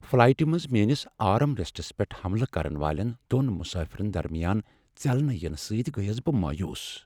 فلایٹہ منٛز میٲنس arm rests پیٹھ حملہٕ کرن والٮ۪ن دۄن مسافرن درمیان ژٮ۪لنہٕ ینہٕ سۭتۍ گٔیس بہٕ مایوٗس۔